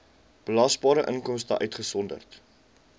belasbare inkomste uitgesonderd